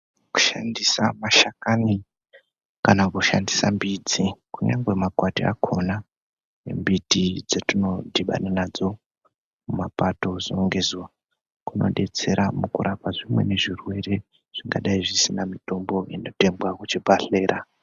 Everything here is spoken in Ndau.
Kushandisa mashakani kana kushandisa mbiti, kunyangwe makwati akona, nembiti dzatinodhibana nadzo mumapato zuwa ngezuwa, kunodetsera mukura kwezvimweni zvirwere, zvingadayi zvisina mitombo inotengwa kuzvibhedhlera.